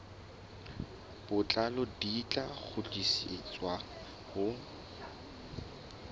botlalo di tla kgutlisetswa ho